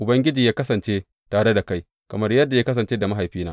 Ubangiji yă kasance tare da kai kamar yadda ya kasance da mahaifina.